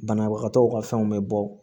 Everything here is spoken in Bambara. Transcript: Banabagatɔw ka fɛnw bɛ bɔ